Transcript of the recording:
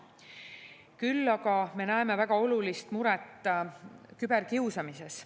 Küll aga me näeme väga olulist muret küberkiusamises.